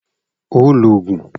O óò loògùn!